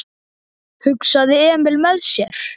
hugsaði Emil með sér.